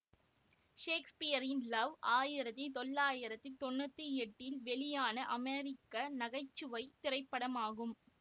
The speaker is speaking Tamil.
சேக்சுபியர் இன் லவ் ஆயிரத்தி தொள்ளாயிரத்தி தொன்னூற்தி எட்டில் வெளியான அமெரிக்க நகை சுவை திரைப்படமாகும்